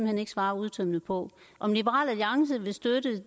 hen ikke svare udtømmende på om liberal alliance vil støtte